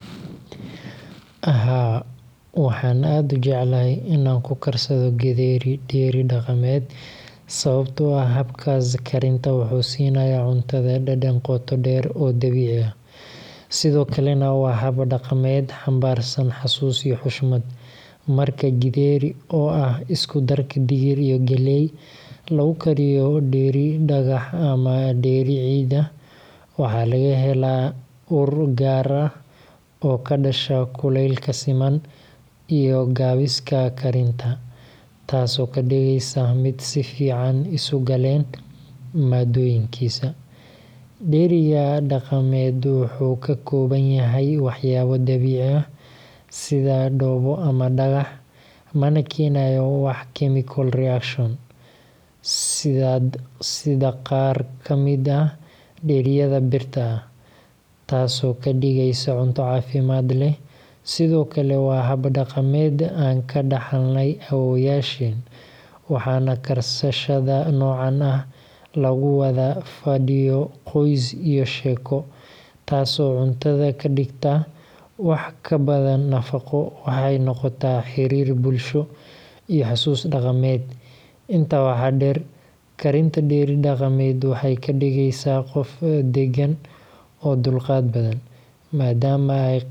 Haa, waxaan aad u jeclahay in aan ku karsado githeri dheri dhaqameed, sababtoo ah habkaas karinta wuxuu siinayaa cuntada dhadhan qoto dheer oo dabiici ah, sidoo kalena waa hab dhaqameed xambaarsan xasuus iyo xushmad. Marka githeri – oo ah isku darka digir iyo galley – lagu kariyo dheri dhagax ama dheri ciid ah, waxaa laga helaa ur gaar ah oo ka dhasha kulaylka siman iyo gaabiska karinta, taasoo ka dhigaysa mid si fiican isu galeen maaddooyinkiisa. Dheriga dhaqameed wuxuu ka kooban yahay waxyaabo dabiici ah sida dhoobo ama dhagax, mana keenayo wax chemical reaction ah sida qaar ka mid ah dheriyada birta ah, taasoo ka dhigaysa cunto caafimaad leh. Sidoo kale, waa hab dhaqameed aan ka dhaxalnay awoowayaasheen, waxaana karsashada noocan ah lagu wadaa fadhiyo qoys iyo sheeko, taasoo cuntada ka dhigta wax ka badan nafaqo – waxay noqotaa xiriir bulsho iyo xasuus dhaqameed. Intaa waxaa dheer, karinta dheri dhaqameed waxay kaa dhigaysaa qof deggan oo dulqaad badan.